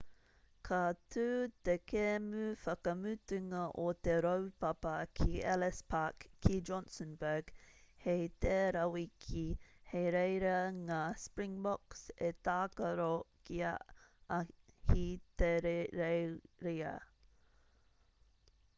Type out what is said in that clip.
ka tū te kēmu whakamutunga o te raupapa ki ellis park ki johannesburg hei tērā wiki hei reira ngā springboks e tākaro ki a ahitereiria